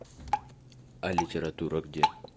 а литература где